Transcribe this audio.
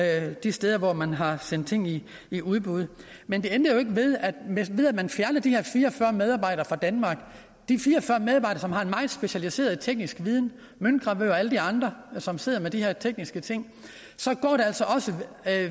alle de steder hvor man har sendt ting i i udbud men det ændrer jo ikke ved at ved at man fjerner de her fire og fyrre medarbejdere fra danmark som har en meget specialiseret teknisk viden møntgravører og alle de andre som sidder med de her tekniske ting så går der altså også